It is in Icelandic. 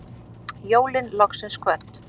Jólin loksins kvödd